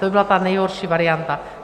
To by byla ta nejhorší varianta.